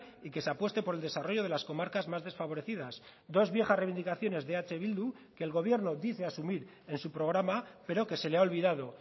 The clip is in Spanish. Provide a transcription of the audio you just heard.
y que se apueste por el desarrollo de las comarcas más desfavorecidas dos viejas reivindicaciones de eh bildu que el gobierno dice asumir en su programa pero que se le ha olvidado